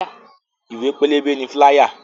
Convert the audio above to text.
Ìwé pélébé ni "fíláyà"